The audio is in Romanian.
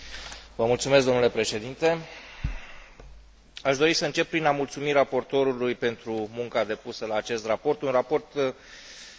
Aș dori să încep prin a mulțumi raportorului pentru munca depusă la acest raport, un raport extrem de obiectiv și de amănunțit, fără a fi stufos.